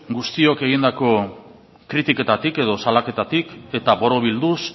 guztiak egindako kritiketatik edo salaketatik eta borobilduz